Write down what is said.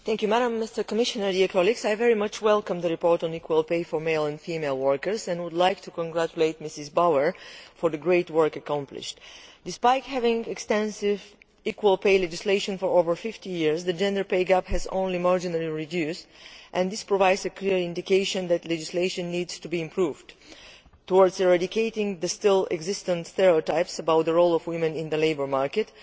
Madam President, Commissioner, dear colleagues, I very much welcome the report on equal pay for male and female workers and would like to congratulate Mrs Bauer for the great work accomplished. Despite having extensive equal pay legislation for over fifty years, the gender pay gap has only marginally reduced, and this provides a clear indication that legislation needs to be improved with a view to eradicating the still existing stereotypes about the role of women in the labour market.